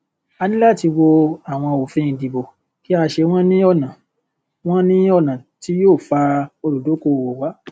a ní láti wo àwọn òfin ìdìbò kí a ṣe wọn ní ọnà wọn ní ọnà tí yóò fa olùdókòwò wá